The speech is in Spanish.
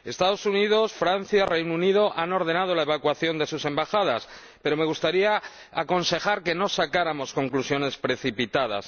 Estados Unidos, Francia y Reino Unido han ordenado la evacuación de sus embajadas, pero me gustaría aconsejar que no sacáramos conclusiones precipitadas.